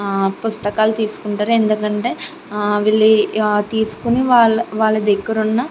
హ పుస్తకాలు తీసుకుంటారు. ఎందుకంటే హ వీలు తీసుకొని వాళ్ళ దగ్గర ఉన్న --